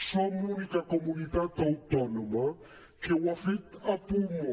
som l’única comunitat autònoma que ho ha fet a pulmó